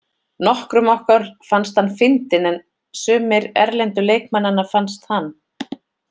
Nokkrum okkar fannst hann fyndinn en sumir erlendu leikmannanna fannst hann.